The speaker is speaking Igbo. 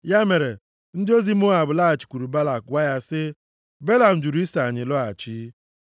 Ya mere, ndị ozi Moab laghachikwuru Balak gwa ya sị, “Belam jụrụ iso anyị lọghachi.”